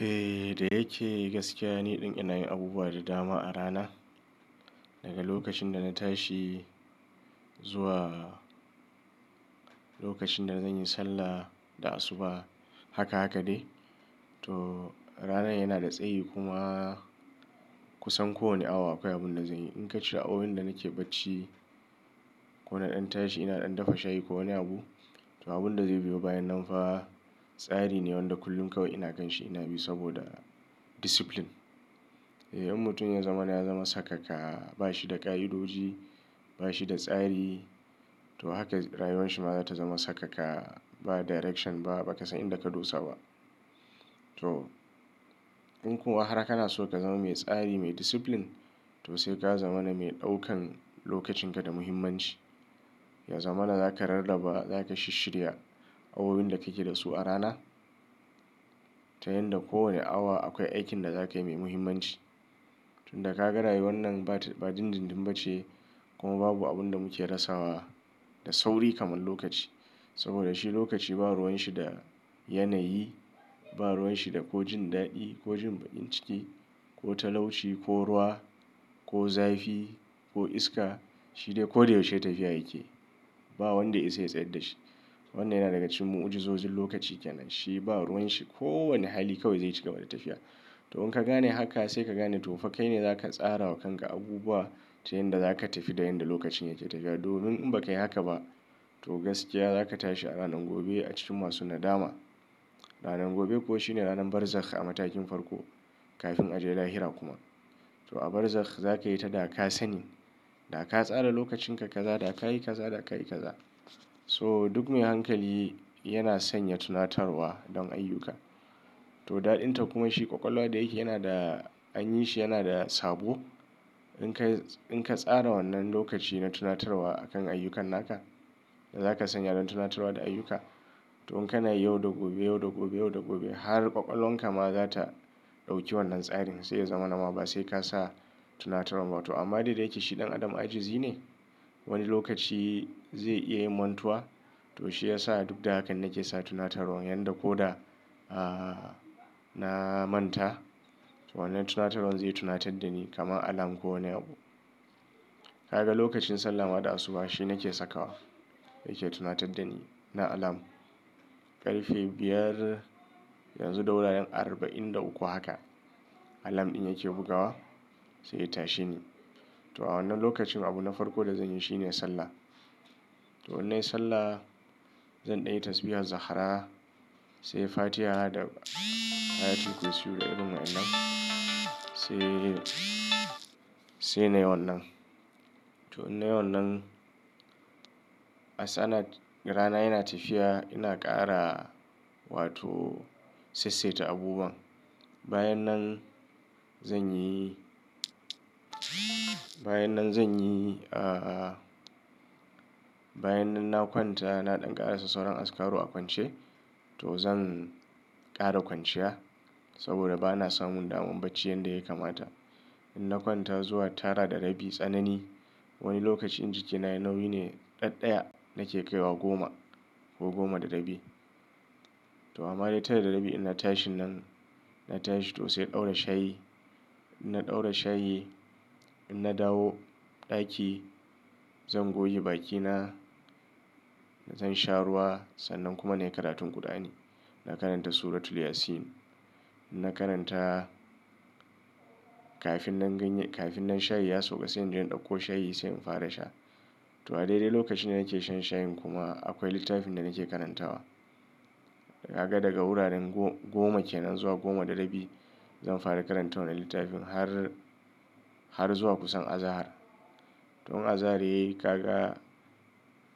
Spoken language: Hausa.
Eh! Da yake gaskiya, ni ɗin inayin abubuwa da dama a rana. Daga lokacin da na tashi zuwa lokacin da zan yi sallah da asuba. Haka haka ne. To ranar yana da tsayi kuma kusan kowane awa akwai abun da zanyi. In ka ce awowin da nake bacci, ko naɗan tashi ina ɗan dafa shayi ko wani abu. To abun da zai biyo bayan nan fa tsari ne wanda kullum kawai ina kanshi ina bi saboda discipline. Eh in mutum ya zama na ya zama sakaka ba shi da ƙa'idoji, ba shi da tsari to haka rayuwar shi ma za ta zama sakaka. Ba direction ba, ba ka san inda ka dosa ba. To in kuma har kana so ka zama mai tsari, mai discipline to sai ka zama na mai ɗaukan lokacin ka da muhimmanci. Ya zama na zaka rarraba, zaka shisshirya awowin da kake da su a rana. Ta yan da kowane awa akwai aikin da zakayi mai muhimmanci. Tun da ka ga rayuwar nan ba dindindin ba ce kuma babu abun da muke rasa wa da sauri kamar lokaci. Saboda shi lokaci ba ruwan shi da yanayi, ba ruwan shi da ko jin daɗi ko jin baɗin ciki ko talauci ko ruwa ko zafi ko iska. Shi dai ko da yaushe tafiya yake. Ba wanda ya isa ya tsayar da shi. Wannan yana daga cikin mu, uji zozin lokaci kenan. Shi ba ruwan shi kowane hali kawai zai ci gaba da tafiya. To in ka gane haka sai ka gane to fa kai ne zaka tsara wa kanka abubuwa ta yan da zaka tafi da yan da lokacin yake tafiya. Domin in ba ka yi haka ba to gaskiya zaka tashi a ranar gobe a cikin masu nadama. Ranar gobe kuwa shine ranar barzakh a matakin farko kafin a je lahira kuma. To a barzakh za ka yi ta da ka sani, da ka tsara lokacin ka kaza, da ka yi kaza, da ka yi kaza. So duk mai hankali yana sanya tunatarwa don ayyuka. To daɗin ta kuma shi ƙwaƙwalwa da yake yana da an yi shi yana da sabo. In ka tsara wannan lokaci na tunatarwa a kan ayyukanna ka, da zaka sanya don tunatarwa da ayyuka. To in kana yayi yau da gobe, yau da gobe, yau da gobe har ƙwaƙwalwanka ma za ta ɗauki wannan tsarin sai ya zama nama ba sai ka sa tunatarwan ba. To amma dai dai yake shi ɗan adam ajizi ne. Wani lokaci zai iya mantuwa. To shi ya sa duk da hakan nake sa tunatarwan. Yan da ko da, ah, na manta to wannan tunatarwan zai tunatar da ni kamar alarm ko wane abu. Ka ga lokacin sallah ma da asuba shi nake sakawa. Yake tunatar da ni na alarm. Ƙarfe biyar yanzu da wuraren arba'in da uku haka alarm ɗin yake bugawa sai ya tashe ni. To a wannan lokacin abu na farko da zanyi shine sallah. To in nayi sallah zan ɗayi tasbiha zahara, sai fatiha da ayatu kursiyu da irin wa'inan sai, sai nayi wannan. To in nayi wannan, asana rana yana tafiya ina ƙara wato sessaita abubuwan. Bayan nan zanyi bayan nan zanyi, ah, bayan nan na kwanta ina ɗan ƙara sassaunan askaru a kwance to zan ƙara kwanciya. Saboda bana samun damar bacci yadda ya kamata. In na kwanta zuwa tara da rabi tsanani wani lokaci inji ka na nauyi ne ɗan ɗaya nake kaiwa goma ko goma da rabi. To amma dai tara da rabi in na tashi nan, na tashi to sai in ɗaura shayi. In na ɗaura shayi, in na dawo ɗaki zan goge bakina, zan sha ruwa sannan kuma na yi karatun kur'ani. Na karanta suratul Yasin. In na karanta kafin nan ganye, kafin nan shayi ya sauka sai in je in ɗauko shayi sai in fara sha. To a daidai lokacin da nake shan shayin kuma akwai littafin da nake karantawa. Kaga daga wuraren goma kenan zuwa goma da rabi zan fara karantawa na littafin har, har zuwa kusan azahar. To in azahar yayi kaga